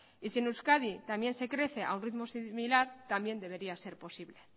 y si en euskadi también se crece a un ritmo similar también debería ser posible